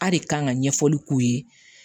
A de kan ka ɲɛfɔli k'u ye